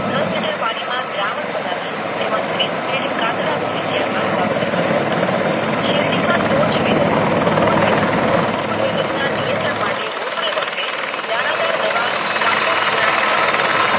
દસ લીટર પની ના દ્રાવણ બનાવતી તેમાં દસ નાની ખાતર ગોળી ત્યાર બાદ વાવેતર કરવું શેરડી માં ટોચ વેધક ગુલ વેધક ના નિયંત્રણ માટે રોપણી વખતે દાણાદાર દવા કાર્ગોચૂરણ ત્રણ ગ્રામ